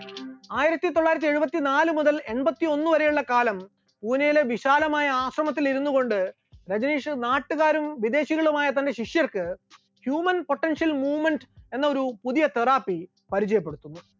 ആയിരത്തിത്തൊള്ളായിരത്തി എഴുപത്തിനാല് മുതൽ എൺപത്തിയൊന്ന് വരെയുള്ള കാലം പൂനെയിലെ വിശാലമായ ആശ്രമത്തിൽ ഇരുന്നുകൊണ്ട് രജനീഷ് നാട്ടുകാരും വിദേശികളുമായ തന്റെ ശിഷ്യർക്ക് human potential movement എന്നൊരു പുതിയ therapy പരിചയപ്പെടുത്തുന്നു.